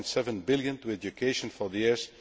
1.7 billion to education for the years